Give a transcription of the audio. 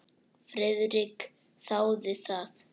Friðrik þáði það.